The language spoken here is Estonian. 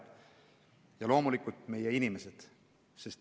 Ja loomulikult – meie inimesed.